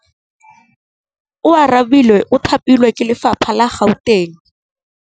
Oarabile o thapilwe ke lephata la Gauteng.